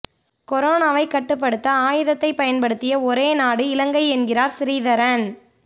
கொரோனாவைக் கட்டுப்படுத்த ஆயுதத்தை பயன்படுத்திய ஒரே நாடு இலங்கை என்கிறார் சிறீதரன்